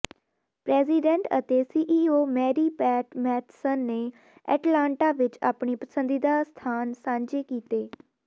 president ਅਤੇ CEO Mary Pat Matheson ਨੇ Atlanta ਵਿੱਚ ਆਪਣੇ ਪਸੰਦੀਦਾ ਸਥਾਨ ਸਾਂਝੇ ਕੀਤੇ